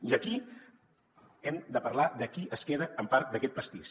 i aquí hem de parlar de qui es queda amb part d’aquest pastís